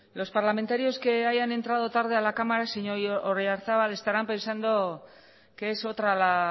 los parlamentarios que hayan entrado tarde a la cámara señor oyarzabal estarán pensando que es otra la